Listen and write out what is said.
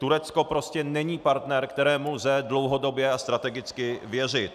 Turecko prostě není partner, kterému lze dlouhodobě a strategicky věřit.